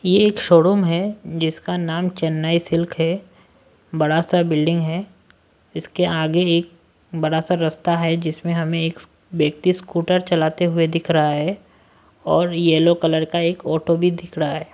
ये एक शोरूम है जिसका नाम चेन्नई सिल्क है बड़ा सा बिल्डिंग है इसके आगे एक बड़ा सा रस्ता है जिसमें हमें एक व्यक्ति स्कूटर चलाते हुए दिख रहा है और येलो कलर का एक ऑटो भी दिख रहा है।